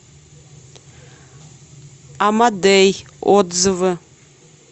амадей отзывы